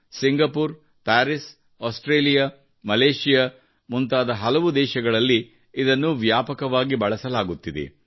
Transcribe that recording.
Singapore Paris Australia Malaysia ಮುಂತಾದ ಹಲವು ದೇಶಗಳಲ್ಲಿ ಇದನ್ನು ವ್ಯಾಪಕವಾಗಿ ಬಳಸಲಾಗುತ್ತಿದೆ